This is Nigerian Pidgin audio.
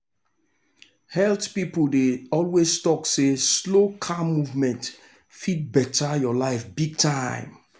health people dey always talk say slow calm movement fit better your life big time.